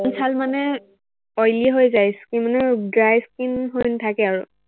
মনিছাল মানে, oily হৈ যায় skin মানে dry skin হৈ নাথাকে আৰু।